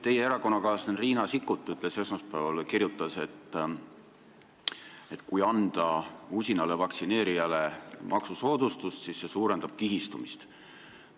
Teie erakonnakaaslane Riina Sikkut kirjutas esmaspäeval, et kui anda usinale vaktsineerijale maksusoodustust, siis see suurendab kihistumist.